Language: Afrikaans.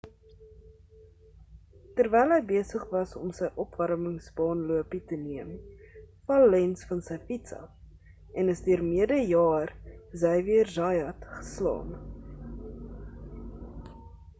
terwyl hy besig was om sy opwarmings baan lopie te neem val lenz van sy fiets af en is deur mede jaer xavier zayat geslaan